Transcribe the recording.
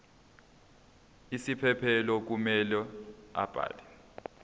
isiphephelo kumele abhale